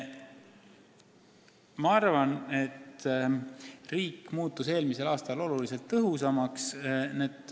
Ma arvan, et riik muutus eelmisel aastal palju tõhusamaks.